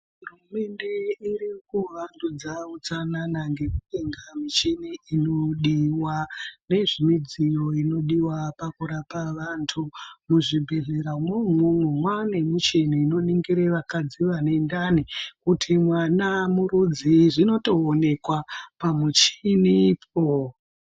Hurumende iri kuvandudza utsanana ngekutenga michini inodiwa nezvemidziyo inodiwa pakurapa vanthu. Muzvibhedhleramwo umwomwo mwaane nemichini inoningire vakadzi vane ndani kuti mwana murudzii zvinotooneka pamuchinipo.